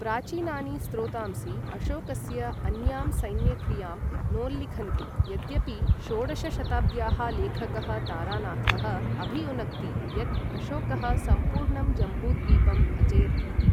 प्राचीनानि स्रोतांसि अशोकस्य अन्यां सैन्यक्रियां नोल्लिखन्ति, यद्यपि षोडश शताब्द्याः लेखकः तारानाथः अभियुनक्ति यत् अशोकः सम्पूर्णं जम्बूद्वीपम् अजयत् इति।